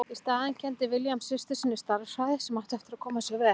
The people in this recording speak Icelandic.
Í staðinn kenndi William systur sinni stærðfræði sem átti eftir að koma sér vel.